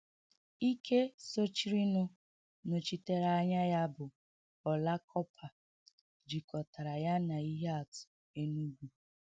Ike sochirinụ nọchitere anya ya bụ ọla kọpa, jikọtara ya na ihe atụ Enugu.